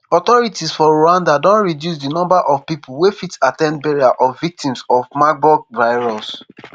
authorities for rwandan don reduce di number of pipo wey fit at ten d burial of victims of marburg virus